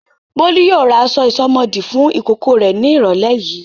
Bólú yóò ra aṣọ ìsomọ́ọ̀dí fún ìkókó rẹ̀ ní ìrọ́lẹ́ yìí.